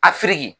A firiki